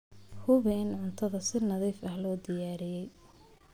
Hubi in cuntada si nadiif ah loo diyaariyey.